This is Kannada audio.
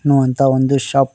ನು ಅಂತ ಒಂದು ಶಾಪ್ --